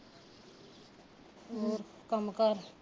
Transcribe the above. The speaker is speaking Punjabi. ਹੋਰ ਕੰਮ ਕਾਰ